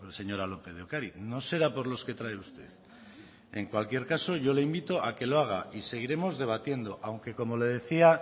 señora lópez de ocariz no será por los que trae usted en cualquier caso yo le invito a que lo haga y seguiremos debatiendo aunque como le decía